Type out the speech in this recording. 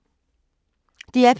DR P2